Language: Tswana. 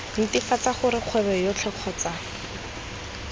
netefatsa gore kgwebo yotlhe kgotsa